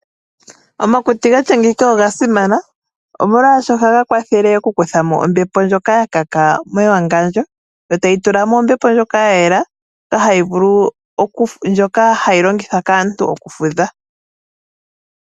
Omakuti gatya ngeyika oga simana, omolwaasho ohaga kwathele okukuthamo ombepo ndjoka ya kaka mewangandjo, yo tayi tula mo ombepo ndjoka ya yela ndjoka hayi longithwa kaantu okufudha.